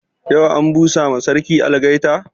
Yau an busa ma sarki algaita?